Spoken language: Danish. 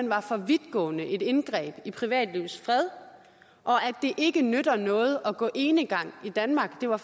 var for vidtgående et indgreb i privatlivets fred og at det ikke nytter noget at gå enegang i danmark det var